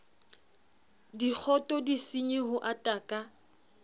dikgoto disenyi ho ata ka